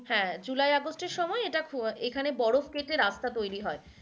হ্যাঁ july august এই সময় এটা ফ~এখানে বরফ কেটে রাস্তা তৈরি হয়।